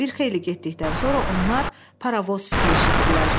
Bir xeyli getdikdən sonra onlar paravoz fiti eşitdilər.